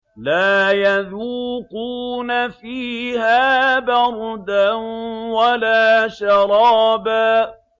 لَّا يَذُوقُونَ فِيهَا بَرْدًا وَلَا شَرَابًا